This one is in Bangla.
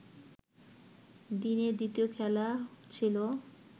দিনের দ্বিতীয় খেলা ছিল